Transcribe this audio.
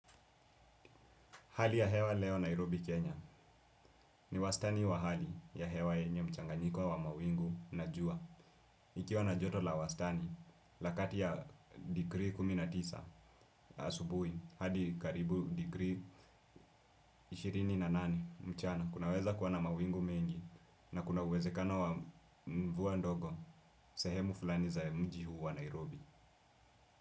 Hali ya hewa leo Nairobi, Kenya ni wastani wa hali ya hewa yenye mchanganyiko wa mawingu na jua. Ikiwa na joto la wastani, la kati ya degree kumi na tisa asubuhi hadi karibu degree ishirini na nane mchana. Kunaweza kuwa na mawingu mengi na kuna uwezekona wa mvua ndogo sehemu fulani za mji huu wa Nairobi.